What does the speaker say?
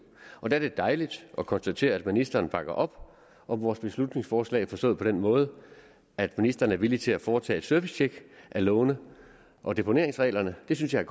der er det dejligt at konstatere at ministeren bakker op om vores beslutningsforslag forstået på den måde at ministeren er villig til at foretage et servicetjek af lovene og deponeringsreglerne det synes jeg